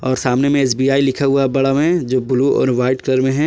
और सामने में एस_बी_आई लिखा हुआ बड़ा में जो ब्लू और व्हाइट कलर में है।